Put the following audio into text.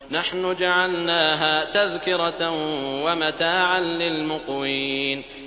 نَحْنُ جَعَلْنَاهَا تَذْكِرَةً وَمَتَاعًا لِّلْمُقْوِينَ